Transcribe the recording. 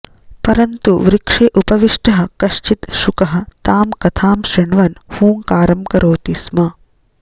परन्तु वृक्षे उपविष्टः कश्चित् शुकः तां कथां शृण्वन् हूँकारं करोति स्म